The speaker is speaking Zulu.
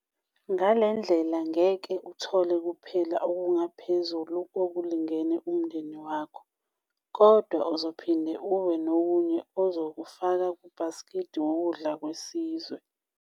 Ngale ndlela ngeke uthole kuphela okungaphezulu kokulingene umndeni wakho, kodwa uzophinde ube nokunye uzokufaka 'kubhasikidi wokudla kwesizwe'.